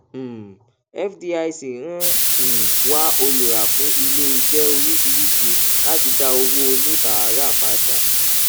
um fdic ń um wá olùrà fún iléiṣẹ oríṣiríṣi láti da owó oníbàárà padà